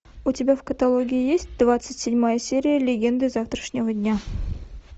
у тебя в каталоге есть двадцать седьмая серия легенды завтрашнего дня